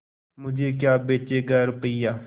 मुझे क्या बेचेगा रुपय्या